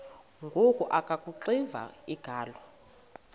ngoku akuxiva iingalo